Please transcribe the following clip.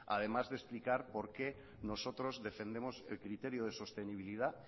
además de explicar por qué nosotros defendemos el criterio de sostenibilidad